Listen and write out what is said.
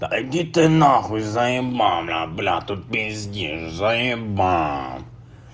да иди ты на хуй заебал бля тут пиздишь заебал